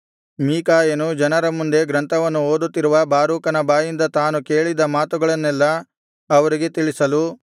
ಮೀಕಾಯನು ಜನರ ಮುಂದೆ ಗ್ರಂಥವನ್ನು ಓದುತ್ತಿರುವ ಬಾರೂಕನ ಬಾಯಿಂದ ತಾನು ಕೇಳಿದ್ದ ಮಾತುಗಳನ್ನೆಲ್ಲಾ ಅವರಿಗೆ ತಿಳಿಸಲು